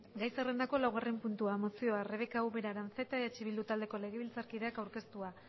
gai zerrendako laugarren puntua mozioa rebeka ubera aranzeta eh bildu taldeko legebiltzarkideak aurkeztua